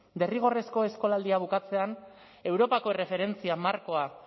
derrigorrezko eskolaldia bukatzean europako erreferentzia markoa